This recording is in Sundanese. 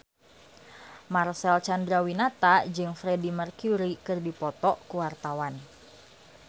Marcel Chandrawinata jeung Freedie Mercury keur dipoto ku wartawan